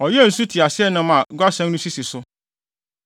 Ɔyɛɛ nsu nteaseɛnam a guasɛn no sisi so,